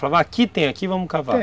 Falava, aqui , tem aqui, vamos cavar